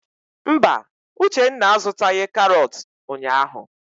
Mba, Uchenna a zụtaghị karọt ụnyaahụ.